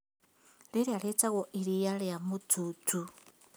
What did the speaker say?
Rĩrĩa rĩtagwo iriia rĩa mũtuutu